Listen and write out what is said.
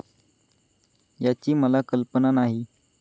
याची मला कल्पना नाही.